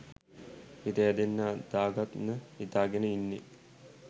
හිත හැදෙන්න දාගන්න හිතාගෙන ඉන්නෙ.